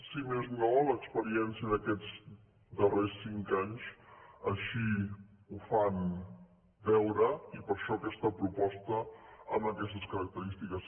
si més no l’experiència d’aquests darrers cinc anys així ho fa veure i per això aquesta proposta amb aquestes característiques